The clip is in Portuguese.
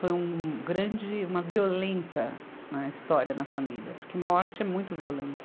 Foi um grande, uma violenta história na família, porque morte é muito violento.